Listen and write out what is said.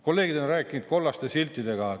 Kolleegid on rääkinud kollaste siltidega.